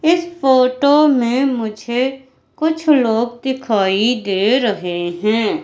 इस फोटो में मुझे कुछ लोग दिखाई दे रहे हैं।